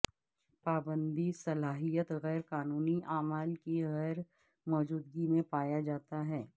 پابندی صلاحیت غیر قانونی اعمال کی غیر موجودگی میں پایا جاتا ہے